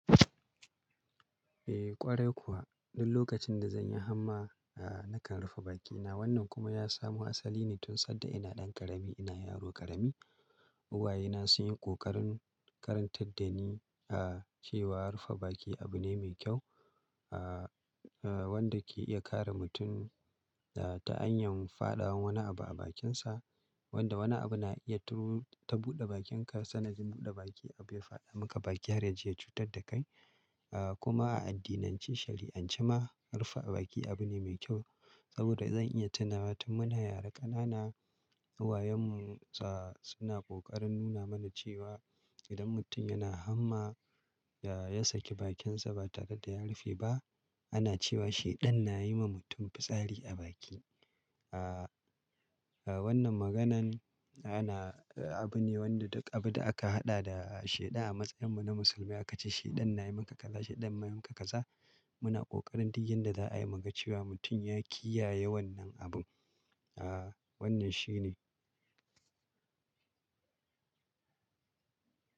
Eh ƙwarai kuwa, duk lokacin da zan yi hamma, ah nakan rufe bakina. Wannan kuma ya samu asali ne tun sanda ina ɗan ƙarami, ina yaro ƙarami. Uwayena sun yi ƙoƙarin karantar da ni ah cewa rufe baki abu ne mai kyau. Ah, ah wanda ke iya kare mutum ah ta hanyar faɗawan wani abu a bakinsa. Wanda wani abu na iya turu ta buɗe bakinka, kasan najin buɗe baki abu ya faɗa maka baki har ya je ya cutar da kai. Ah kuma a addinance, shari'ance ma rufe baki abu ne mai kyau. Saboda zan iya tunawa tun muna yara ƙanana, uwayenmu ah suna ƙoƙarin nuna mana cewa idan mutum yana hamma ya saki bakinsa ba tare da ya rufe ba, ana cewa shaiɗan na yi ma mutum fitsari a baki. Ah, ah wannan maganan ana abu ne wanda duk abu da aka haɗa da shaiɗan a matsayinmu na musulmai aka ce shaiɗan na yi maka kaza, shaiɗan ma yi maka kaza. Muna ƙoƙarin duk yadda za'a yi muga cewa mutum ya kiyaye wannan abu. Ah wannan shine.